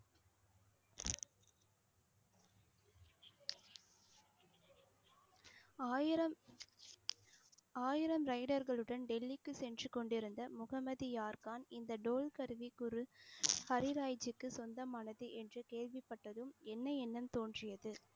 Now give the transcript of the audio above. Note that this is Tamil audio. ஆயிரம் ஆயிரம் rider களுடன் டெல்லிக்கு சென்று கொண்டிருந்த முகம்மது யார்கான் இந்த டோல் கருவி பொருள் ஹரிராய்ஜீக்கு சொந்தமானது என்று கேள்விப்பட்டதும் என்ன எண்ணம் தோன்றியது?